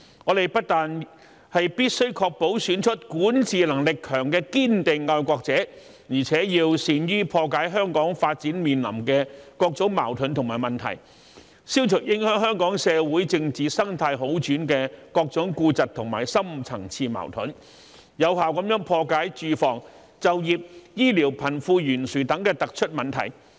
我們不但必須確保選出管治能力強的堅定愛國者，而且要善於破解香港發展面臨的各種矛盾和問題，消除影響香港社會政治生態好轉的各種痼疾和深層次矛盾，有效破解住房、就業、醫療、貧富懸殊等突出問題。